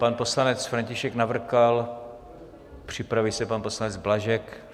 Pan poslanec František Navrkal, připraví se pan poslanec Blažek.